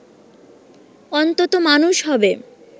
অন্তত মানুষ হবে